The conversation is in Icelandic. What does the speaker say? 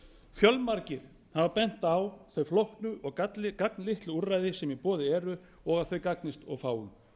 fjölmargir hafa bent á þau flóknu og gagnslitlu úrræði sem í boði eru og að þau gagnist of fáum